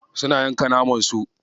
Suna yanka naman su.